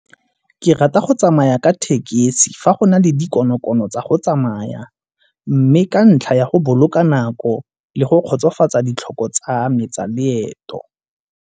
Ke rata go tsamaya ka tekesi fa go na le dikonokono tsa go tsamaya mme ka ntlha ya go boloka nako le go kgotsofatsa ditlhoko tsa me tsa leeto.